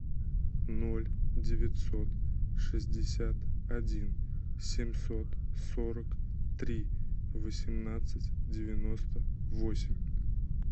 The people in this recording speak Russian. ноль девятьсот шестьдесят один семьсот сорок три восемнадцать девяносто восемь